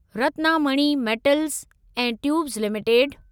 Ratnamani metals ऐं tubes limited